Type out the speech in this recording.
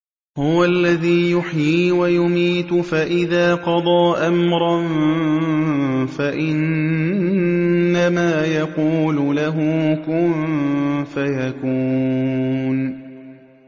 هُوَ الَّذِي يُحْيِي وَيُمِيتُ ۖ فَإِذَا قَضَىٰ أَمْرًا فَإِنَّمَا يَقُولُ لَهُ كُن فَيَكُونُ